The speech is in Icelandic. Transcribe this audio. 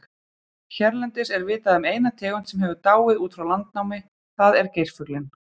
Hérlendis er vitað um eina tegund sem hefur dáið út frá landnámi, það er geirfuglinn.